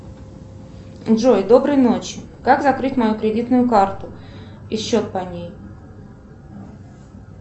джой доброй ночи как закрыть мою кредитную карту и счет по ней